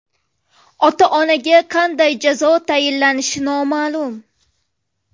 Ota-onaga qanday jazo tayinlanishi noma’lum.